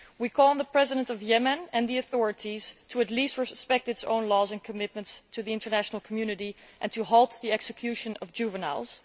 We call on the President of Yemen and the authorities to at least respect Yemen's own laws and commitments to the international community and halt the execution of juveniles.